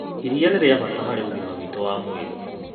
Iria nĩ rĩa bata harĩ ũgima witũ wa mwĩrĩ.